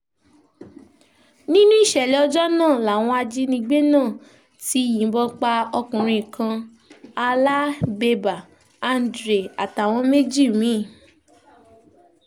nínú ìṣẹ̀lẹ̀ ọjọ́ náà làwọn ajìnigbé náà ti yìnbọn pa ọkùnrin kan halábébà andre àtàwọn méjì mí-ín